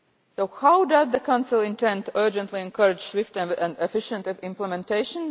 So how does the Council intend to urgently encourage swift and efficient implementation?